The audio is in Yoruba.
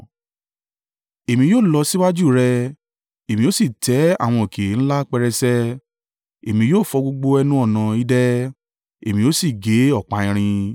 Èmi yóò lọ síwájú rẹ, Èmi ó sì tẹ́ àwọn òkè ńlá pẹrẹsẹ Èmi yóò fọ gbogbo ẹnu-ọ̀nà idẹ èmi ó sì gé ọ̀pá irin.